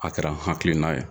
A kɛra n hakilina ye.